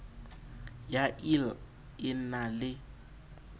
ya ill e na le